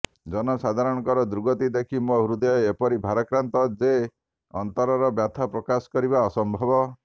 ଜନସାଧାରଣଙ୍କର ଦୁର୍ଗତି ଦେଖି ମୋ ହୃଦୟ ଏପରି ଭାରାକ୍ରାନ୍ତ ଯେ ଅନ୍ତରର ବ୍ୟଥା ପ୍ରକାଶ କରିବା ଅସମ୍ଭବ